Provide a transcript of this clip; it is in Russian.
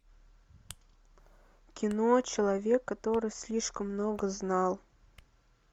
кино человек который слишком много знал